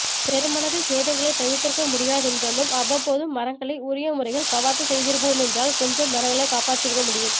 பெருமளவில் சேதங்களைத் தவிர்த்திருக்க முடியாதென்றாலும் அவ்வப்போது மரங்களை உரிய முறையில் கவாத்து செய்திருப்போமென்றால் கொஞ்சம் மரங்களைக் காப்பாற்றியிருக்க முடியும்